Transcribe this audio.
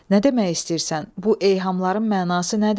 Nə demək istəyirsən, bu eyhamların mənası nədir?